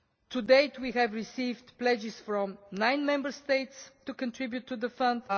To date, we have received pledges from nine Member States to contribute to the fund.